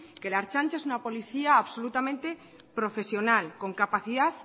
que la ertzaintza es una policía absolutamente profesional con capacidad